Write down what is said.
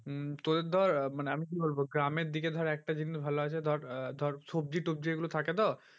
উম তোদের ধর আহ আমি কি বলবো গ্রামের দিকে ধর একটা জিনিস ভালো আছে ধর আহ ধর সবজি তবজি এগুলো থাকে তো